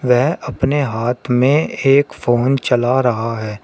वह अपने हाथ में एक फोन चला रहा है।